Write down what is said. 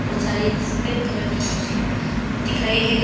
बहुत सारी सफेद करके कुर्सियां दिख रही है।